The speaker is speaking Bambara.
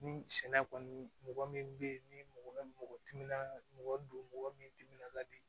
Ni sɛnɛ kɔni mɔgɔ min be yen ni mɔgɔ timinan ka mɔgɔ don mɔgɔ min timinan ka di